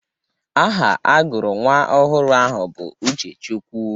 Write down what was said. Aha agụrụ nwa ọhụrụ ahụ bụ Uchechukwu.